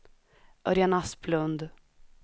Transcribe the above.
Örjan Asplund